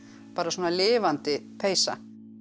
bara svona lifandi peysa